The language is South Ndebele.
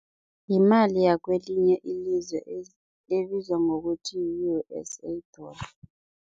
Yimali yakwelinye ilizwe ebizwa ngokuthi yi-U_S_A dollar.